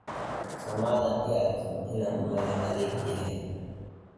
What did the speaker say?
Somadhan iiarkin ina madhax adagyahy.